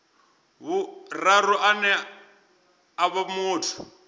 vhuraru ane a vha muthu